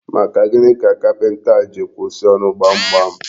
Maka gịnị ka kapinta a ji kwụsị ọrụ gbamgbam?